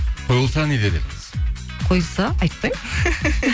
қойылса не дер едіңіз қойылса айтпаймын